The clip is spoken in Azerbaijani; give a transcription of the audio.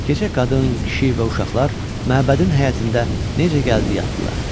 Gecə qadın, kişi və uşaqlar məbədin həyətində necə gəldi yatdılar.